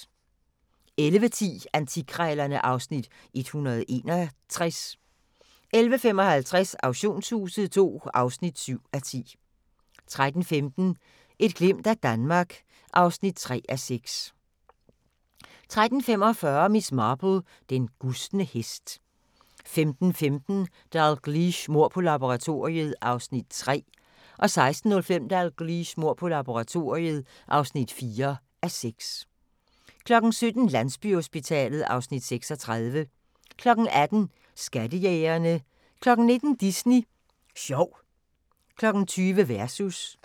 11:10: Antikkrejlerne (Afs. 161) 11:55: Auktionshuset II (7:10) 13:15: Et glimt af Danmark (3:6) 13:45: Miss Marple: Den gustne hest 15:15: Dalgliesh: Mord på laboratoriet (3:6) 16:05: Dalgliesh: Mord på laboratoriet (4:6) 17:00: Landsbyhospitalet (Afs. 36) 18:00: Skattejægerne 19:00: Disney Sjov 20:00: Versus